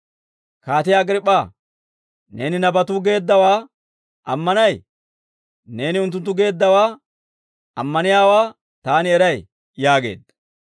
«Kaatiyaa Agriip'p'aa, neeni nabatuu geeddawaa ammanay? Neeni unttunttu geeddawaa ammaniyaawaa taani eray» yaageedda.